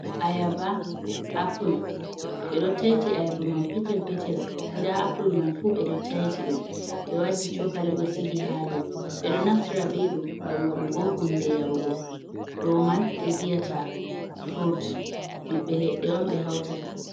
Ayaba, apul, ɓe ɗo taiti ayaba man petel-petel, nda apul man fu ɓe ɗo taiti ɗum, ɓe waddi chookali ɓe sigi ha dow, ɓe ɗo naftira be ɗo ngam waɗugo hunde yarugo, ɗo man ɓe vi'ata frut. Ɓiɓɓe leɗɗe on ɓe hawtata.